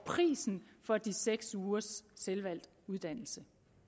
prisen for de seks ugers selvvalgt uddannelse